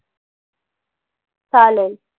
चालेल.